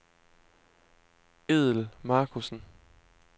Edel Markussen